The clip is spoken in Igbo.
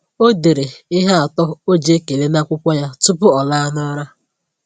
Ọ dere ihe atọ o ji ekele n’akwụkwọ ya tupu ọ laa n’ụra.